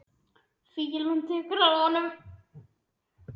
Fýlan lekur af honum.